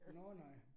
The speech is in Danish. Nåh nej